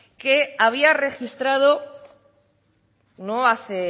que había registrado no hace